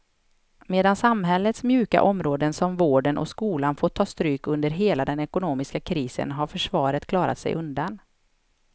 Medan samhällets mjuka områden som vården och skolan fått ta stryk under hela den ekonomiska krisen har försvaret klarat sig undan.